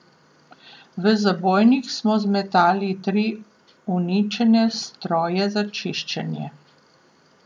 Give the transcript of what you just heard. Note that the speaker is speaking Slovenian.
V zabojnik smo zmetali tri uničene stroje za čiščenje.